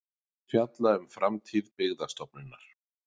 Fjalla um framtíð Byggðastofnunar